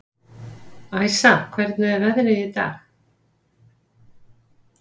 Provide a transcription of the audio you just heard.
Æsa, hvernig er veðrið í dag?